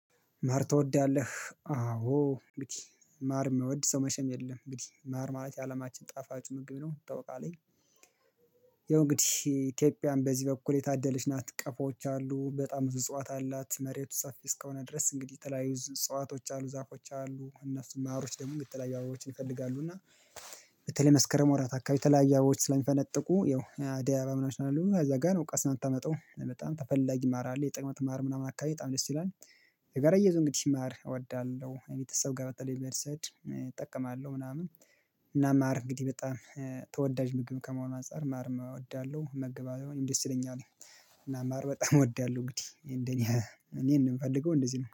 ማር ትወዳለህ አዎ እንግዲህ ማር የማይወድ ሰው መቼም የለም። እንግዲህ ማር ማለት የአለማችን ጣፋጭ ምግብ ነው ታውቀው አለኝ። ይኸው እንግዲህ ኢትዮጵያን በዚህ በኩል የታደለች ናት ቀፎዎች አሉ በጣም ብዙ እጽዋት አላት። መሬቱ ሰፊ እስከሆነ ድረስ እንግዲህ ተለያዩ እጽዋቶች አሉ ዛፎች አሉ። እነሱም ማሮች ደግሞ የተለያዩ አባቦችን ይፈልጋሉ እና። በተለይ መስከረም ወራት አካባቢ ተለያየ አባቦች ስለሚፈነጥቁ ያው አደይ አበባ ምናምን ስላሉ እዛ ጋር ቀስማ የምታመጣው በጣም ተፈላጊ ማር አለ። የጥቅምት ማር ምናምን አካባቢ በጣም ደስ ይላል። የገረየዘው እንግዲህ ማር እወዳለሁ ቤተሰብ ጋር በተለይ ቤት ስሄድ እጠቀማለሁ ምናምን። እና ማር እንግዲህ በጣም ተወዳጅ ምግብ ከመሆኑ አንፃር ማርም እወዳለሁ እመገባለሁ እኔ ደስ ይለኛል። እና ማር በጣም እወዳለሁ እንግዲህ እንደኔ እኔ እንደምፈልገው እንደዚህ ነው